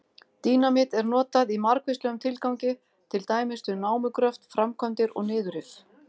Dínamít er notað í margvíslegum tilgangi, til dæmis við námugröft, framkvæmdir og niðurrif.